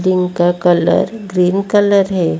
Tin का colour green colour है।